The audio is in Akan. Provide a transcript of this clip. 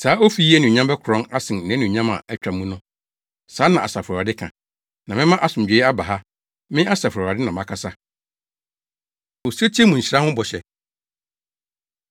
‘Saa ofi yi anuonyam bɛkorɔn asen nʼanuonyam a atwa mu no.’ Saa na Asafo Awurade ka. ‘Na mɛma asomdwoe aba ha.’ Me, Asafo Awurade na makasa.” Osetie Mu Nhyira Ho Bɔhyɛ